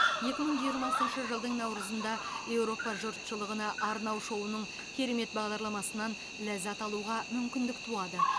екі мың жиырмасыншы жылдың наурызында еуропа жұртшылығына арнау шоуының керемет бағдарламасынан ләззат алуға мүмкіндік туады